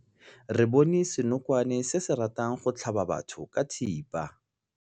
Re bone senokwane se se ratang go tlhaba batho ka thipa.